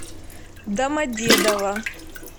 домодедово